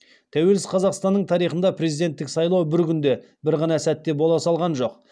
тәуелсіз қазақстанның тарихында президенттік сайлау бір күнде бір ғана сәтте бола салған жоқ